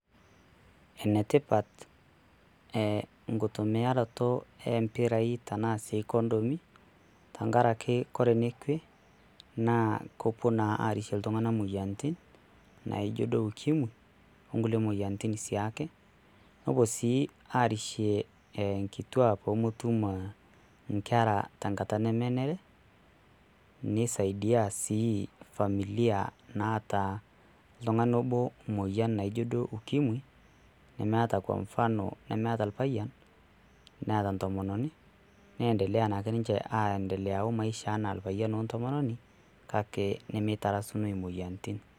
Enetipat enkutumiaroto oo mpirai naa sii kondomi tengaraki ore ninche naa kepuo naa aarishie iltung'anak emoyiaritin naijio duo ukimwi ongulie moyiaritin siake. Nepuo sii aarishie inkituak peeme Tum enkera tengata nemenare, neisaidia sii familia naata oltung'ani obo emoyian naijio duo ukimwi nemeeta Kwa mfano nemeeta oripayian Neeta entomononi neendelea naake ninche omaisha enaa oripayian wentomononi kake nemetarasunoi emoyiaritin.